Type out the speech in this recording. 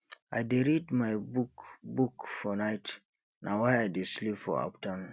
i dey read my book book for night na why i dey sleep for afternoon